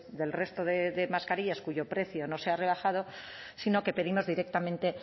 del resto de mascarillas cuyo precio no se ha rebajado sino que pedimos directamente